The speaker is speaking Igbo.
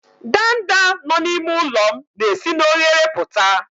ndanda nọ n'ime ụlọ m na-esi n'oghere pụta